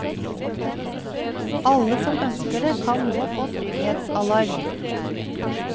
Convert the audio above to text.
Alle som ønsker det kan nå få trygghetsalarm.